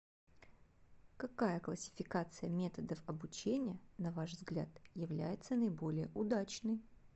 какая классификация методов обучения на ваш взгляд является наиболее удачной